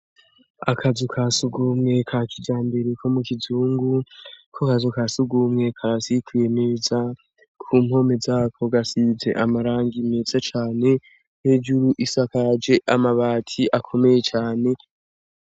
Akazu kasugumwe ka kijambere ko mu kizungu .Ako akazu kasugumwe kasikuye neza ku mpomeza ko gasize amarangi imetsa cane n'ejuru isakaje amabati akomeye cabe.